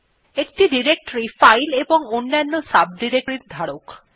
একটি directory file এবং অন্যান্য directories এর ধারক